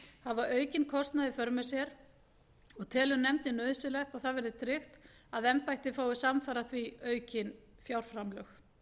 hafa aukinn kostnað í för með sér og telur nefndin nauðsynlegt að það verði tryggt að embættið fái samfara því aukin fjárframlög